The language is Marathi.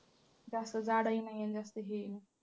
जास्त जाडही नाही आणि जास्त हे ही नाही.